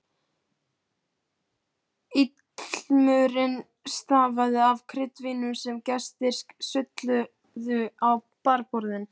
Ilmurinn stafaði af kryddvínum sem gestir sulluðu á barborðin.